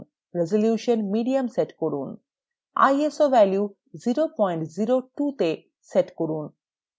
resolution medium set করুন iso value 002 তে set করুন